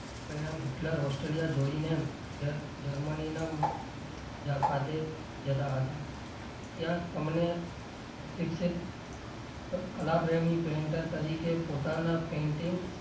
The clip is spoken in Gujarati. પરિણામ હિટલર ઓસ્ટ્રેલિયા જોડીને જર્મ જર્મની ખાતે જતાં હતાં ત્યાં તમને કલાપ્રેમી painter તરીકે પોતાનાં painting